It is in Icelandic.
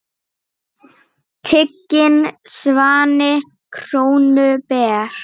Tiginn svanni krónu ber.